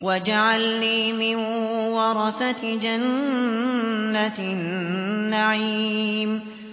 وَاجْعَلْنِي مِن وَرَثَةِ جَنَّةِ النَّعِيمِ